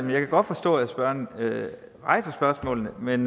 jeg godt forstå at spørgeren rejser spørgsmålene men